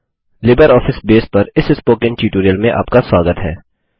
LibreOffice base पर इस spoken tutorial में आपका स्वागत है